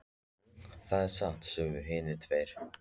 Jú, það er satt, sögðu hinar tvær.